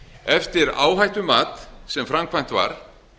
eftir áhættumat sem framkvæmt var